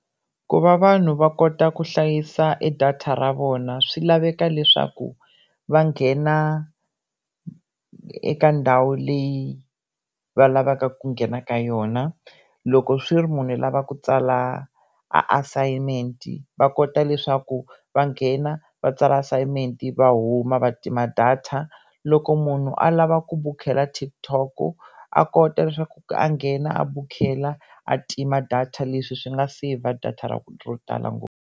Ku va vanhu va kota ku hlayisa e data ra vona swi laveka leswaku va nghena eka ndhawu leyi va lavaka ku nghena ka yona loko swi ri munhu i lava ku tsala a assignment va kota leswaku va nghena va tsala assignment va huma va tima data loko munhu a lava ku bukela TikTok a kota leswaku a nghena a bukutela a tima data leswi swi nga save-a data ra ro tala ngopfu.